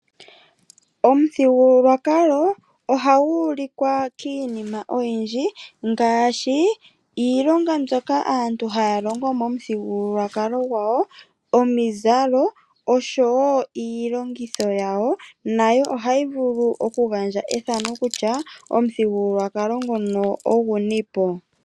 Omuthigululwakalo ohagu ulikwa kiinima oyindji, ngaashi iilonga mbyoka aantu haya longo omuthigululwakalo gwawo, omizalo oshowo iilongitho yawo, nayo ohayi vulu oku gandja ethano kutya omuthigululwakalo ngono ogunipo.